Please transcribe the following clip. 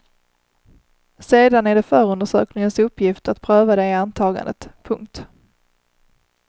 Sedan är det förundersökningens uppgift att pröva det antagandet. punkt